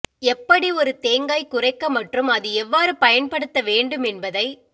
எப்படி ஒரு தேங்காய் குறைக்க மற்றும் அது எவ்வாறு பயன்படுத்த வேண்டும் என்பதை